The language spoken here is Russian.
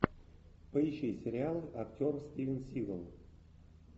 поищи сериал актер стивен сигал